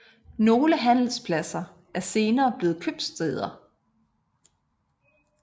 Nogle handelspladser er senere blevet købstæder